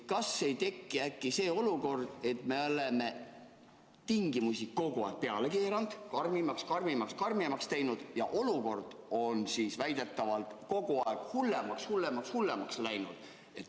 Kas ei ole äkki nii, et me oleme tingimusi kogu aeg peale keeranud, nõudeid karmimaks, karmimaks, karmimaks teinud ja olukord on väidetavalt kogu aeg aina hullemaks läinud.